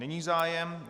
Není zájem.